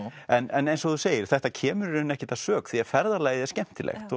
en eins og þú segir þetta kemur ekkert að sök því að ferðalagið er skemmtilegt